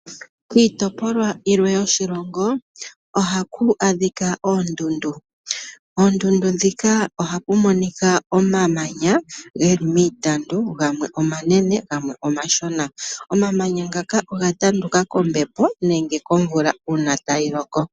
Kiitopolwa yilwe yoshilongo ohaku adhika oondundu. Poondundu ndhika ohapu monika omamanya ge li miitandu, gamwe omanene gamwe omashona. Omamanya ngaka oga tanduka kombepo nenge komvula uuna tayi loko.